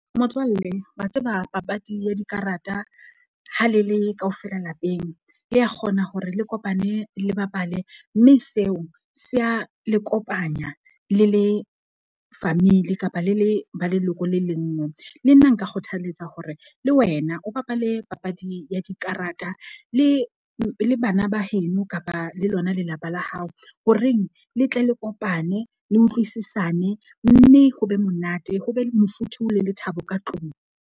Motswalle wa tseba papadi ya dikarata ha le le kaofela lapeng, le ya kgona hore le kopane le bapale. Mme seo se a le kopanya le le family kapa le le ba leloko le leng nngwe. Le nna nka kgothalletsa hore le wena o bapale papadi ya dikarata le bana ba heno kapa le lona lelapa la hao, ho reng le tle le kopane le utlwisisane. Mme ho be monate ho be le mofuthu, le lethabo ka tlung.